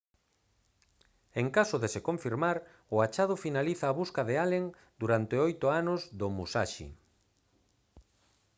en caso de se confirmar o achado finaliza a busca de allen durante oito anos do musashi